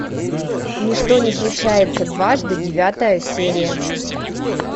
ничто не случается дважды девятая серия